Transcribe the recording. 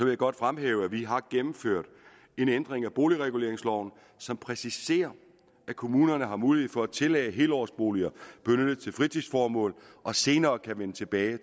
jeg godt fremhæve at vi har gennemført en ændring af boligreguleringsloven som præciserer at kommunerne har mulighed for at tillade at helårsboliger benyttes til fritidsformål og senere kan vende tilbage og